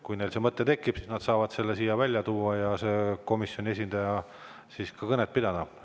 Kui neil see mõte tekib, siis nad saavad selle siin välja tuua ja komisjoni esindaja saab siis ka kõnet pidada.